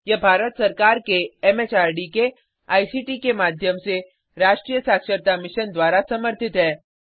यह भारत सरकार के एमएचआरडी के आईसीटी के माध्यम से राष्ट्रीय साक्षरता मिशन द्वारा समर्थित है